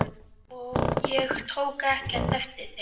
Ég tók ekkert eftir þeim.